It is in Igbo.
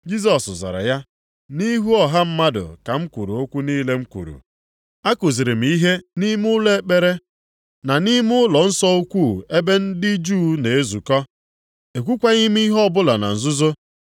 Jisọs zara ya, “Nʼihu ọha mmadụ ka m kwuru okwu niile m kwuru. A kuziri m ihe nʼime ụlọ ekpere na nʼime ụlọnsọ ukwu ebe ndị Juu na-ezukọ. Ekwukwaghị m ihe ọbụla na nzuzo.